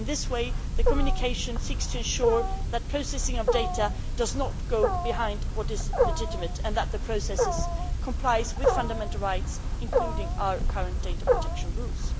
In this way, the communication seeks to ensure that the processing of data does not go beyond what is legitimate and that the processes comply with fundamental rights, including our current data protection rules.